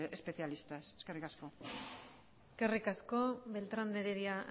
especialistas eskerrik asko eskerrik asko beltrán de heredia